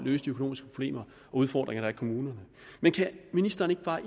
løse de økonomiske problemer og udfordringer der er i kommunerne men kan ministeren ikke bare